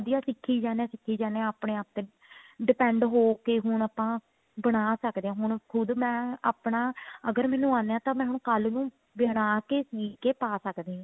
ਵਧੀਆਂ ਸਿੱਖੀ ਜਾਂਦੇ ਸਿੱਖੀ ਜਾਂਦੇ ਹਾਂ ਆਪਣੇ ਆਪ ਤੇ depend ਹੋ ਕੇ ਹੁਣ ਆਪਾਂ ਬਣਾ ਸਕਦੇ ਹਾਂ ਹੁਣ ਖੁਦ ਮੈਂ ਆਪਣਾ ਅਗਰ ਮੈਨੂੰ ਆਂਦੇ ਤਾਂ ਮੈਨੂੰ ਕੱਲ ਹੀ ਬਣਾ ਕੇ ਸੀਕੇ ਪਾ ਸੱਕਦੀ ਹਾਂ